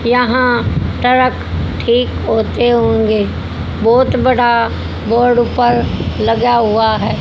यहां सड़क ठीक होते हुए बहोत बड़ा बोर्ड उपर लगा हुआ है।